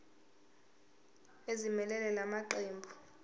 ezimelele la maqembu